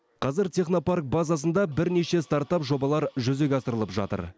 қазір технопарк базасында бірнеше стартап жобалар жүзеге асырылып жатыр